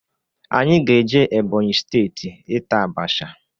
Anyị ga eje Ebonyi steeti ịta abasha.